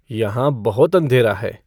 यहाँ बहुत अंधेरा है